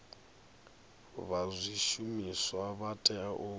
vha zwishumiswa vha tea u